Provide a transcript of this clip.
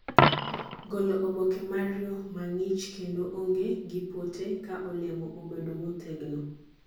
golo oboke mar yo mangi'ich kendo onge gi pote ka olemo obedo motegno